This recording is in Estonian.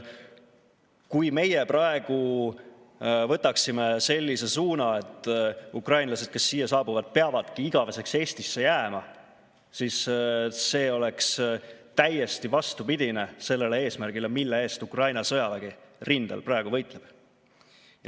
Kui meie praegu võtaksime sellise suuna, et ukrainlased, kes siia saabuvad, peavadki igaveseks Eestisse jääma, siis see oleks täiesti vastupidine sellele eesmärgile, mille eest Ukraina sõjavägi rindel praegu võitleb.